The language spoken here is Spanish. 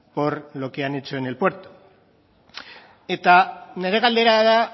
por lo que han hecho en el puerto eta nire galdera da